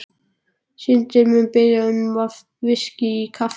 Syndin mun biðja um VISKÍ í kaffið.